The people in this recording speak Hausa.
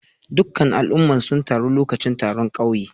Dukan al'umman suna taru lokacin taron kauye.